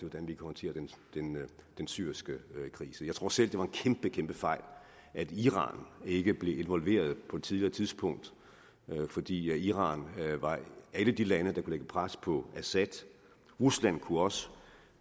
hvordan vi håndterer den syriske krise jeg tror selv det var en kæmpe kæmpe fejl at iran ikke blev involveret på et tidligere tidspunkt fordi iran er et af de lande der kunne lægge pres på assad rusland kunne også